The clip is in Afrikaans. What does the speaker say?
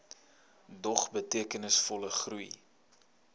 dog betekenisvolle groei